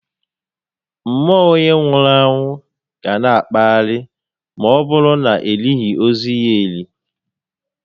Mmụọ onyé nwụrụ anwụ ga na akpagharị ma ọbụrụ na elighi ozu ya eli